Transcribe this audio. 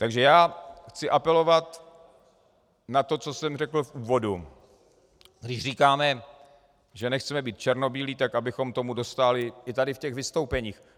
Takže já chci apelovat na to, co jsem řekl v úvodu, když říkáme, že nechceme být černobílí, tak abychom tomu dostáli i tady v těch vystoupeních.